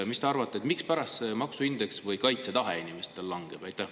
Mis te arvate, mispärast see maksu indeks või inimeste kaitsetahe langeb?